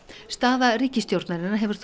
staða ríkisstjórnarinnar hefur þótt